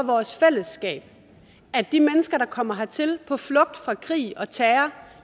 vores fællesskab at de mennesker der kommer hertil på flugt fra krig og terror